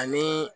Ani